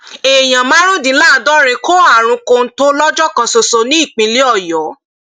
èèyàn márùndínláàádọrin kó àrùn kọńtò lọjọ kan ṣoṣo nípínlẹ ọyọ